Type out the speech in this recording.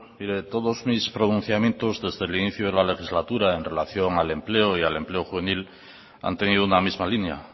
todos mis pronunciamientos desde el inicio de la legislatura en relación al empleo y al empleo juvenil han tenido una misma línea